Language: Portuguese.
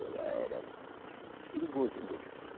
Eu era perigoso mesmo.